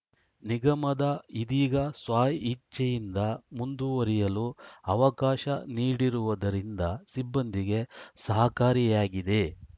ನಿಗಮದ ಇದೀಗ ಸ್ವ ಇಚ್ಛೆಯಿಂದ ಮುಂದುವರಿಯಲು ಅವಕಾಶ ನೀಡಿರುವುದರಿಂದ ಸಿಬ್ಬಂದಿಗೆ ಸಹಕಾರಿಯಾಗಿದೆ